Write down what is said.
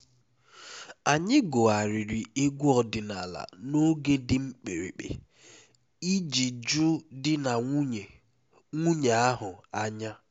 anyị gụgharịrị egwu ọdịnala n'oge dị mkpirikpi iji ju di na nwunye nwunye ahụ anya